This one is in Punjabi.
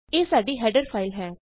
ਇਹ ਸਾਡੀ ਹੈਡਰ ਫਾਈਲ ਹੈ